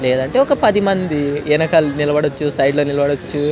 లేదంటే ఒక పది మంది వెనకాల నిలబడ వచ్చు సైడ్ లో నిలబడొచ్చు.